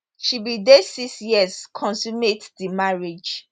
she be dey six years consummate di marriage